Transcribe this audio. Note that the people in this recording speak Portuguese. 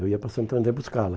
Eu ia para Santo André buscá-la.